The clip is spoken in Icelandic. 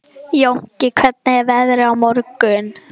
Jónki, hvernig er veðrið á morgun?